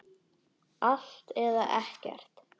Allt eða ekkert.